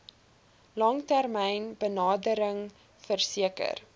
langtermyn benadering verseker